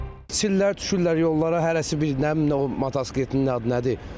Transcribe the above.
Sillər düşürlər yollara, hərəsi bir, nə bilim nə o motosikletin adı nədir?